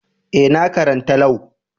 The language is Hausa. Eh, na karanta Lau.